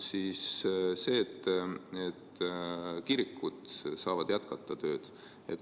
Kirikud saavad tööd jätkata.